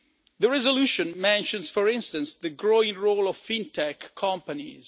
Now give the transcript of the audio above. The resolution mentions, for instance, the growing role of fintech companies.